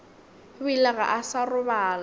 bile ga a sa robala